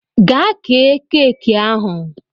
Gaa kee keeki ahụ!